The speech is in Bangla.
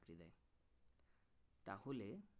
তাহলে